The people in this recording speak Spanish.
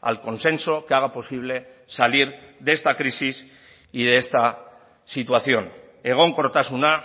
al consenso que haga posible salir de esta crisis y de esta situación egonkortasuna